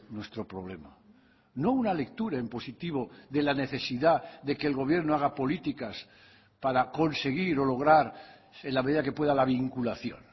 nuestro problema no una lectura en positivo de la necesidad de que el gobierno haga políticas para conseguir o lograr en la medida que pueda la vinculación